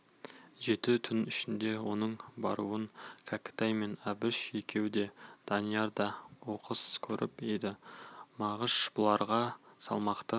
жеті түн ішінде оның баруын кәкітай мен әбіш екеуі де данияр да оқыс көріп еді мағыш бұларға салмақты